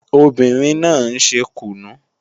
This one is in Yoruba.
Obìnrin náà ń ṣe kùnú